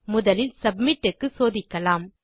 முதலில் சப்மிட் க்கு சோதிக்கலாம்